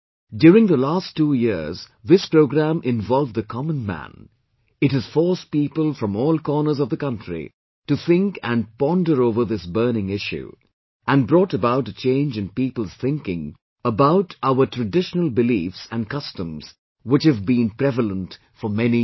During the last two years this programme involved the common man; it has forced people from all corners of the country to think and ponder over this burning issue; and brought about a change in people's thinking about our traditional beliefs and customs which have been prevalent for many years